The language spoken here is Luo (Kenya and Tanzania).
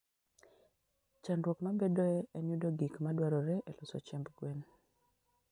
Chandruok mabedoe en yudo gik ma dwarore e loso chiemb gwen.